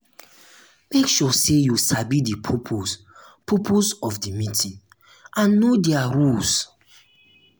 make sure say you sabi di purpose purpose of di meeting and know their rules